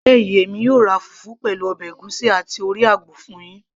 ní alẹ́ yìí, èmi yóò ra fùfú, pẹ̀lú ọbẹ̀ ègúsí àti orí àgbò fún yín